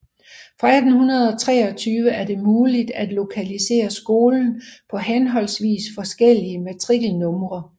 Fra 1823 er det muligt at lokalisere skolen på henholdsvis forskellige matrikelnumre